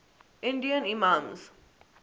indian imams